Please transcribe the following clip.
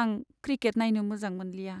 आं क्रिकेट नायनो मोजां मोनलिया।